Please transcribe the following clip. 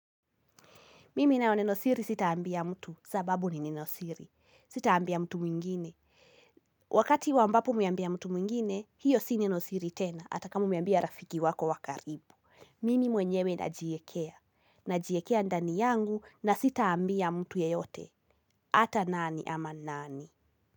Mimi nao nenosiri sitaambia mtu sababu ni nenosiri. Sitaambia mtu mwingine. Wakati wambapo mwambia mtu mwingine, hiyo sini nenosiri tena. Hata kama umeambia rafiki wako wa karibu Mimi mwenyewe na jiekea. Na jiekea ndani yangu na sitaambia mtu yeyote. Ata nani ama nani.